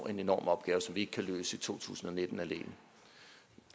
en enorm opgave som vi ikke kan løse i to tusind og nitten alene